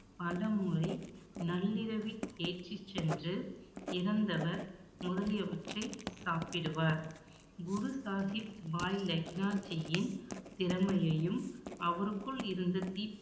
பலமுறை நள்ளிரவில் ஏற்றிச் சென்று சாப்பிடுவார் குரு சாகிப் பாய் லெக்னாஜியின் திறமையையும், அவருக்குள் இருந்த தீப்~